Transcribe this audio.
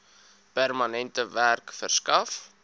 permanente werk verskaf